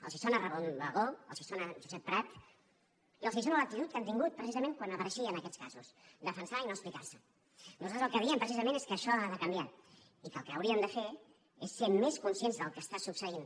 els sona ramon bagó els sona josep prat i els sona l’actitud que han tingut precisament quan apareixien aquests casos defensar i no explicar se nosaltres el que diem precisament és que això ha de canviar i que el que hauríem de fer és ser més conscients del que està succeint